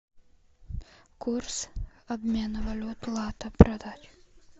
курс обмена валют лата продать